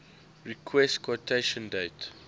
request quotation date